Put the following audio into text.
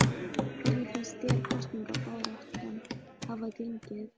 Hvernig finnst þér kosningabaráttan hafa gengið?